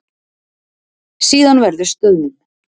Síðan verður stöðnun.